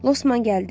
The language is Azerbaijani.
Losman gəldi.